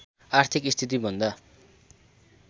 आर्थिक स्थितिभन्दा